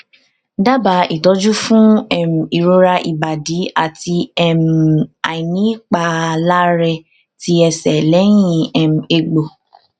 daba itoju fun um irora ibadi ati um ainipalare ti ese lehin um egbo